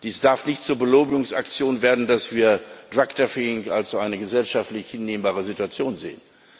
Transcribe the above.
Es darf nicht zur Belobigungsaktion werden, dass wir als eine gesellschaftlich hinnehmbare Situation sehen.